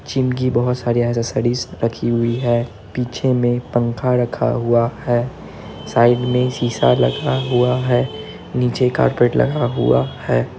Gym कि बहुत सारी एक्सेसरीज रखी हुई है पीछे मे पंखा रखा हुआ है साइड में शीशा लगा हुआ है नीचे कार्पेट लगा हुआ है।